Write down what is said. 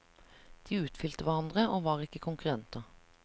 De utfylte hverandre, og var ikke konkurrenter.